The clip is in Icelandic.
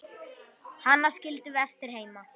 Hana skildum við eftir heima.